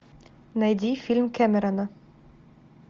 найди фильм кэмерона